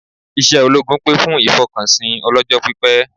Iṣẹ́ ológun pè fún ìfọkànsìn ọlọ́jọ́pípẹ́